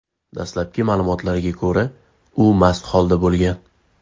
Dastlabki ma’lumotlarga ko‘ra, u mast holda bo‘lgan.